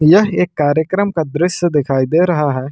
यह एक कार्यक्रम का दृश्य दिखाई दे रहा है।